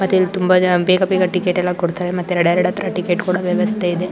ಮತ್ತೆ ಇಲ್ಲಿ ತುಂಬಾ ಜನ ಬೇಗ ಬೇಗ ಟಿಕೆಟ್ ಎಲ್ಲ ಕೊಡ್ತಾರೆ ಮತ್ತೆ ಹತ್ರ ಟಿಕೆಟ್ ಕೊಡೊ ವ್ಯವಸ್ಥೆ ಇದೆ.